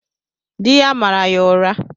Di ya mara ya ụra.